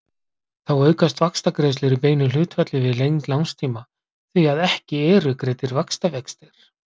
Þá aukast vaxtagreiðslur í beinu hlutfalli við lengd lánstíma því að ekki eru greiddir vaxtavextir.